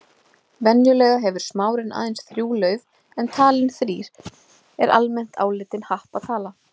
Venjulega hefur smárinn aðeins þrjú lauf en talan þrír er almennt álitin happatala.